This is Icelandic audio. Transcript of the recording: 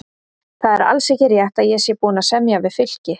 Það er alls ekki rétt að ég sé búinn að semja við Fylki.